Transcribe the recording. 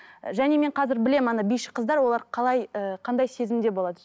және мен қазір мен білемін ана биші қыздар олар ы қандай сезімде болады